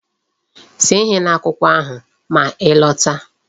See ihe n'akwụkwọ ahụ ma ị lọta!